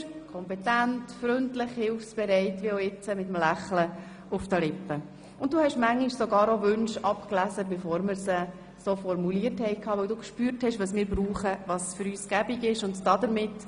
Aebi Markus, Aeschlimann Martin, GroggMeyer Christine, Hügli Daniel, Kropf Blaise, Linder AnnaMagdalena, Müller Mathias, Rüfenacht Daphné, Schmidhauser Corinne, Schöni-Affolter Franziska, Streit-Stettler Barbara, Tobler Marc, Vanoni Bruno, Zryd Andrea